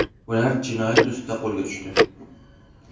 Ular jinoyat ustida qo‘lga tushdi.